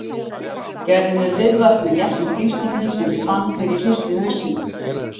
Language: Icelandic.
Gerði mér viðvart með léttum þrýstingi sem ég fann þegar ég hristi hausinn.